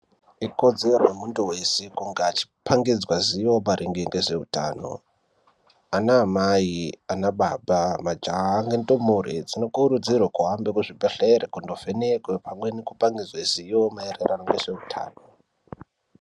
Ikodzero yemuntu weshe kunge echi pangidzwe zivo maringe nezveutano. Ana amai, anababa, majaha, nendumure dzino kurudzirwa kuhambe kuzvibhedhlera, kundo vhenekwa pamwe neku pangidzwe zivo maererano nezveutano.